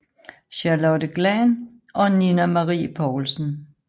Charlotte Glahn og Nina Marie Poulsen